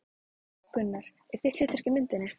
Gunnar: En þitt hlutverk í myndinni?